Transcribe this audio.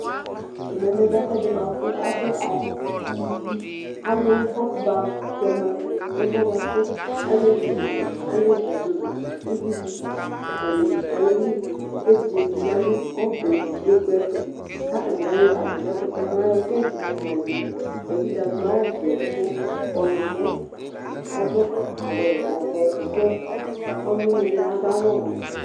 Ɛmɛ bɩ lɛ ɛfʊɛdɩ bʊakʊ ɩvɩ alʊ ʊvlokʊ ba tɛma nɛfʊɛ bʊakʊ alevɩ nʊvɩdɩ atanɩ ayelɩ Evɩdze dɩ ya nʊ ɔbɛ nʊvlokʊ kʊ yɛ tʊ katanɩ ayɔ kintsɩ la yɔlɩ Evɩdze adʊ awʊ vɛ, ɔwlɔmɔ ɔdʊ awʊvɛ tʊ kɔlʊwɩnɩɛ bɩ adʊ awʊ wɛ